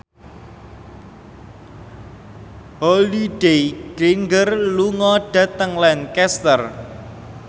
Holliday Grainger lunga dhateng Lancaster